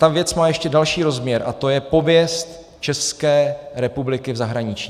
Ta věc má ještě další rozměr a to je pověst České republiky v zahraničí.